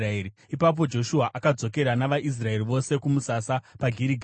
Ipapo Joshua akadzokera navaIsraeri vose kumusasa paGirigari.